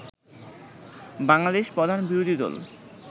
বাংলাদেশে প্রধান বিরোধী দল